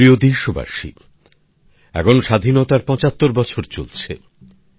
আমার প্রিয় দেশবাসী এখন স্বাধীনতার ৭৫ বছর চলছে